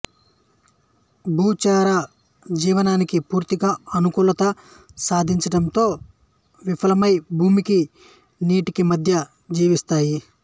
భూచర జీవనానికి పూర్తిగా అనుకూలత సాధించడంలో విఫలమయి భూమికి నీటికి మధ్య జీవిస్తాయి